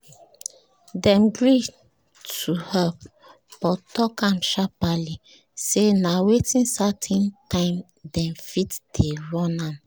dem gree to help but talk am sharperly say na within certain time dem fit dey run am